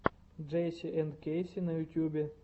джейси энд кэйси на ютубе